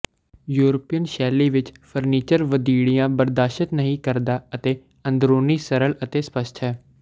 European ਸ਼ੈਲੀ ਵਿਚ furniture ਵਧੀੜੀਆਂ ਬਰਦਾਸ਼ਤ ਨਹੀਂ ਕਰਦਾ ਅਤੇ ਅੰਦਰੂਨੀ ਸਰਲ ਅਤੇ ਸਪੱਸ਼ਟ ਹੈ